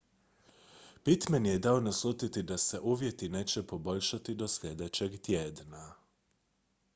pittman je dao naslutiti da se uvjeti neće poboljšati do sljedećeg tjedna